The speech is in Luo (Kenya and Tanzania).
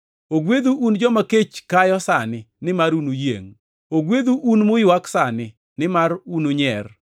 Ogwedhu un joma kech kayo sani, nimar unuyiengʼ. Ogwedhu un muywak sani, nimar ununyier.